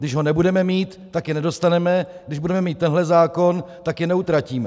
Když ho nebudeme mít, tak je nedostaneme, když budeme mít tento zákon, tak je neutratíme.